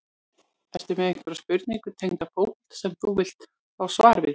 Ertu með einhverja spurningu tengda fótbolta sem þú vilt fá svar við?